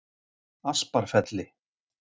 Asparfelli